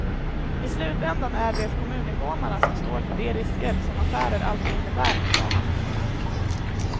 I slutändan är det kommuninvånarna som står för de risker, som affärer alltid innebär, sade han.